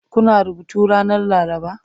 Kuna rubutu ranar laraba?